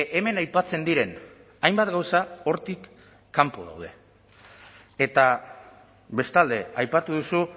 hemen aipatzen diren hainbat gauza hortik kanpo daude eta bestalde aipatu duzu